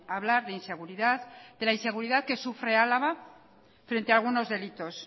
hablar de inseguridad de la inseguridad que sufre álava frente a algunos delitos